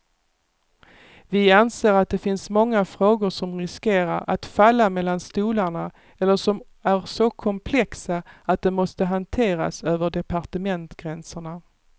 Vi anser att det finns många frågor som riskerar att falla mellan stolarna eller som är så komplexa att de måste hanteras över departementsgränserna.